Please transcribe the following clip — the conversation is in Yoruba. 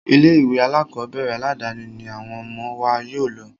Ilé ìwé alákọ̀berẹ̀ aládàni ní àwọn ọmọ wa yóò lọ.